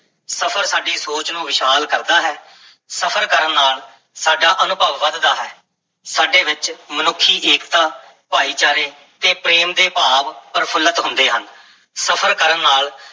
ਸਫ਼ਰ ਸਾਡੀ ਸੋਚ ਨੂੰ ਵਿਸ਼ਾਲ ਕਰਦਾ ਹੈ, ਸਫ਼ਰ ਕਰਨ ਨਾਲ ਸਾਡਾ ਅਨੁਭਵ ਵਧਦਾ ਹੈ, ਸਾਡੇ ਵਿੱਚ ਮਨੁੱਖੀ ਏਕਤਾ, ਭਾਈਚਾਰੇ ਤੇ ਪ੍ਰੇਮ ਦੇ ਭਾਵ ਪ੍ਰਫੁੱਲਤ ਹੁੰਦੇ ਹਨ, ਸਫ਼ਰ ਕਰਨ ਨਾਲ